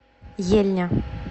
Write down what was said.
ельня